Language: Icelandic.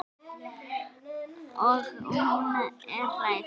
Og hún er hrædd.